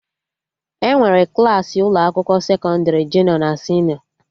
Enwere Klassị ụlọ akwụkwọ sekọndrị junịọ na senịọ